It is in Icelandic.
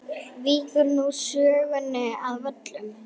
Víkur nú sögunni að Völlum.